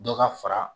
Dɔ ka fara